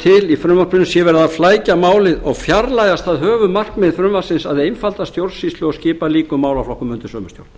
til í frumvarpinu sé verið að flækja málið og fjarlægja það höfuðmarkmið frumvarpsins að einfalda stjórnsýsluna og skipa líkum málaflokkum undir sömu stjórn minni